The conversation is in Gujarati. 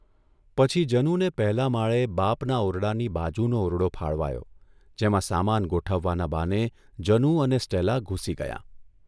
પછી જનુને પહેલા માળે બાપના ઓરડાની બાજુનો ઓરડો ફાળવાયો જેમાં સામાન ગોઠવવાના બહાને જનુ અને સ્ટેલા ઘૂસી ગયાં.